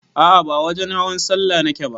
A'a ba wajen hawan sallah nake ba